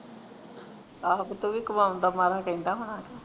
ਆਹੋ ਤੇ ਤੂੰ ਵੀ ਕਾਵਾਂਨ ਦੇ ਮਾਰਾਂ ਕਹਿੰਦਾ ਹੋਣਾ ਕੇ